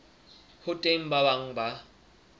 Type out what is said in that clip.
ho teng ba bang ba